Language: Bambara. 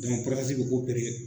be ko